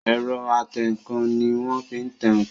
Ẹ̀rọ atẹǹkan ní wọ́n fí tẹ ǹkan